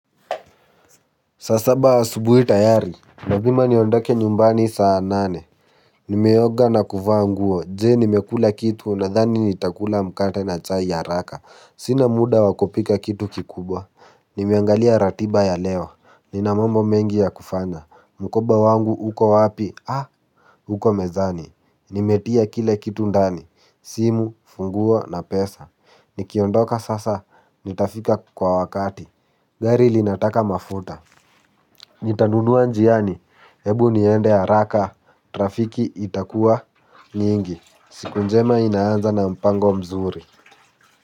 Saa saba asubuhi tayari lazima niondoke nyumbani saa nane. Nimeoga na kuvaa nguo je nimekula kitu nadhani nitakula mkate na chai haraka sina muda wa kupika kitu kikubwa. Nimeangalia ratiba ya leo nina mambo mengi ya kufanya mkoba wangu uko wapi uko mezani nimetia kila kitu ndani simu funguo na pesa. Nikiondoka sasa nitafika kwa wakati. Gari linataka mafuta nitanunua njiani ebu niende haraka trafiki itakuwa nyingi siku njema inaanza na mpango mzuri.